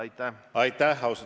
Austatud Riigikogu esimees!